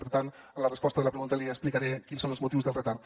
per tant a la resposta de la pregunta li explicaré quins són els motius del retard